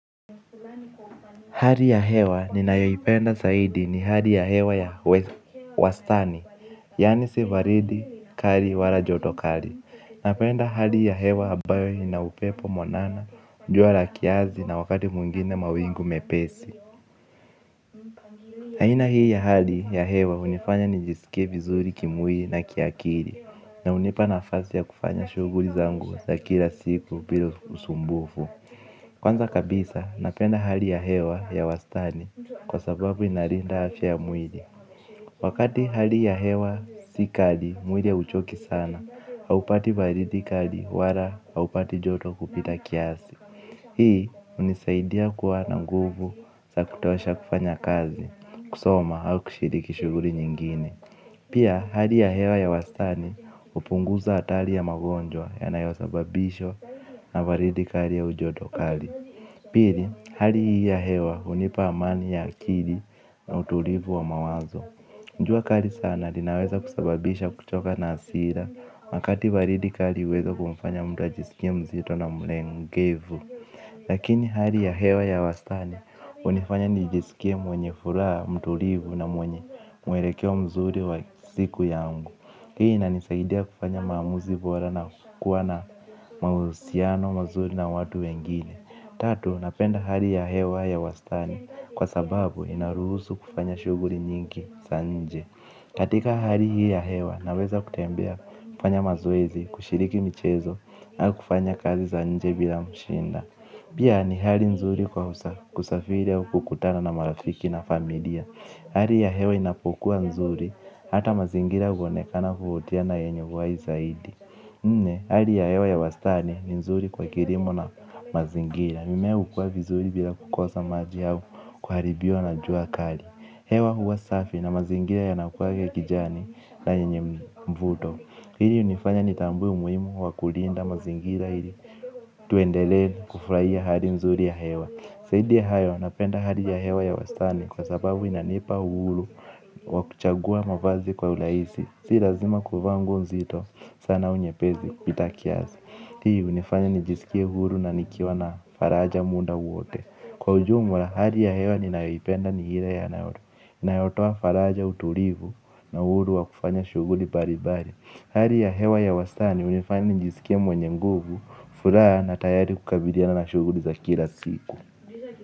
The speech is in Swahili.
Hali ya hewa ninayoipenda zaidi ni hali ya hewa ya wastani, yaani si baridi kali, wala joto kali. Napenda hali ya hewa ambayo ina upepo mwanana, jua la kiasi na wakati mwingine mawingu mepesi. Aina hii ya hali ya hewa hunifanya nijisikie vizuri kimwili na kiakili, na hunipa nafasi ya kufanya shughuli zangu za kila siku bila usumbufu. Kwanza kabisa napenda hali ya hewa ya wastani kwa sababu inalinda afya ya mwili. Wakati hali ya hewa si kali mwili hauchoki sana, haupati baridi kali wala haupati joto kupita kiasi. Hii hunisaidia kuwa na nguvu za kutolesha kufanya kazi, kusoma au kushiriki shughuli nyingine. Pia hali ya hewa ya wastani hupunguza hatari ya magonjwa yanayosababishwa na baridi kali au joto kali. Pili, hali hii ya hewa hunipa amani ya akili na utulivu wa mawazo. Jua kali sana, linaweza kusababisha kuchoka na hasira, wakati baridi kali huweza kumfanya mtu ajisikie mzito na mlegevu. Lakini hali ya hewa ya wastani, hunifanya nijisikie mwenye furaha, mtulivu na mwenye mwelekeo mzuri wa siku yangu. Hii inanisaidia kufanya maamuzi bora na kukua na mahusiano, mazuri na watu wengine. Tatu, napenda hali ya hewa ya wastani kwa sababu inaruhusu kufanya shughuli nyingi za nje. Katika hali hii ya hewa naweza kutembea, kufanya mazoezi, kushiriki michezo na kufanya kazi za nje bila shida. Pia ni hali nzuri kwa kusafiri au kukutana na marafiki na familia. Hali ya hewa inapokuwa nzuri hata mazingira huonekana kuvutia na yenye uhai zaidi. Nne, hali ya hewa ya wastani ni nzuri kwa kilimo na mazingira. Mimea hukua vizuri bila kukosa maji au kuharibiwa na jua kali. Hewa huwa safi na mazingira yanakuwa ya kijani na yenye mvuto. Hili hunifanya nitambue umuhimu wa kulinda mazingira ili tuendelee kufurahia hali nzuri ya hewa. Zaidi ya hayo napenda hali ya hewa ya wastani kwa sababu inanipa uhuru wa kuchagua mavazi kwa urahisi. Si lazima kuvaa nguo nzito sana, au nyepesi kupita kiasi. Hii hunifanya nijisikie huru na nikiwa na faraja, muda wote. Kwa ujumla hali ya hewa ninayoipenda ni ile inayotoa faraja, utulivu na uhuru wa kufanya shughuli mbalimbali. Hali ya hewa ya wastani hunifanya nijisikie mwenye nguvu, furaha na tayari kukabiliana na shughuli za kila siku.